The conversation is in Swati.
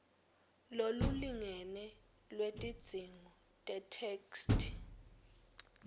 lolulingene lwetidzingo tetheksthi